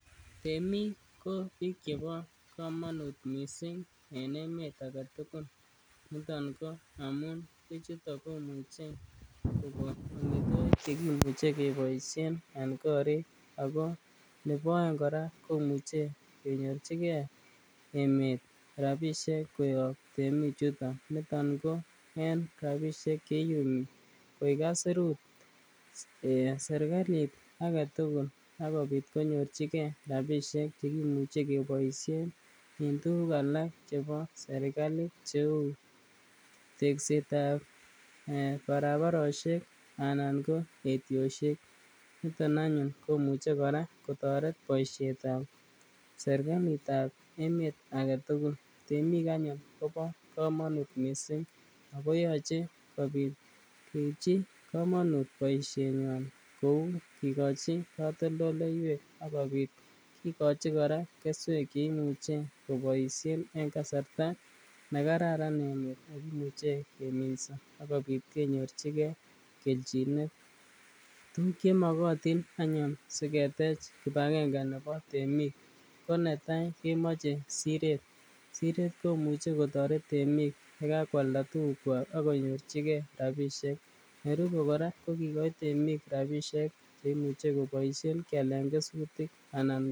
Temiik ko biik chebo komonut missing en emeet agetugul, niton ko amun bichutok komuche kogon amitwogik chekimuche keboisien en koriik ako nebo oeng kora komuche konyorchigen emeet rabisiek koyob temichuton, niton ko en rabisiek cheiyumi koik aisurut serkalit agetugul akobit konyorchigen rabisiek komuche keiboisien en tuguk alak chebo serkalit kou tekseet ab barabarosyek anan ko etyosyek, niton anyun komuche kora kotoret boisietab serkalitab emeet agetugul, temiik anyun kobo komonut kot missing ako yoche keibchi komonut boisyenywan ku kigichi katoldoloywek ak kikoch kora keswek cheimuche koboisien en kasarta nekararan emeet ak imuche kominso ak kobit kenyorchigen kelchinet, tuguk chemogotin anyun siketech kipagenge nebo temiik, ko netai kemoche sireet, sireet komuche kotoret temik yegakwalda tugukwak ak konyorchige rabisiek, nerube kora ko kigoi temik rabisiek cheimuche koboisien kialel kesutik anan..